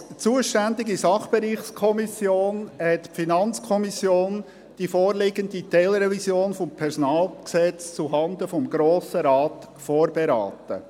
Als zuständige Sachbereichskommission hat die FiKo die vorliegende Teilrevision des PG zuhanden des Grossen Rates vorberaten.